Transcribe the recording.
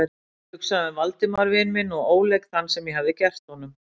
Ég hugsaði um Valdimar vin minn og óleik þann, sem ég hafði gert honum.